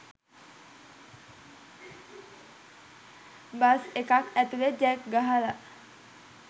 bus එකක් ඇතුලේ jack ගහලා